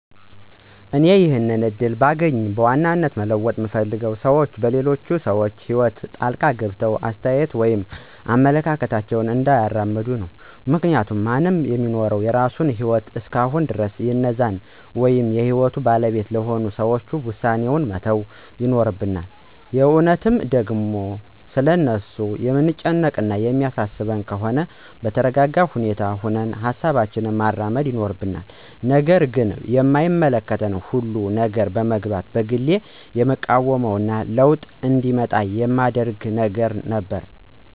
እኔ ይሄንን እድል ባገኝ በዋናነት መለወጥ ምፈልገው ሰዎች በሌሎች ሰዎች ህይወት ጣልቃ ገብተው አስተያየት ወይም አመለካከታቸውን እንዳያራምዱ ነው። ምክንያቱም ማንም ሚኖረው የራሱን ህይወት እስከሆነ ድረስ የእነዛን ወይም የህይወቱ ባለቤት ለሆኑት ሰዎች ዉሳኔዉን መተው ይኖርብናል። የእውነትም ደግሞ ስለ እነርሱ የምንጨነቅ እና የሚያሳስበን ከሆነም በተረጋጋ ሁኔታ ሁነን ሀሳባችንን ማራመድ ይኖርብናል። ነገር ግን በማይመለከተን ሁሉ ነገር መግባትን በግሌ የምቃወመው እና ለዉጥ እንዲመጣ የማደርገው ነገር ነበር።